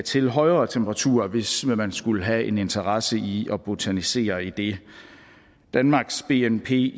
til højere temperaturer hvis man skulle have en interesse i at botanisere i det danmarks bnp